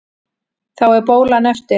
Þá er bólan eftir.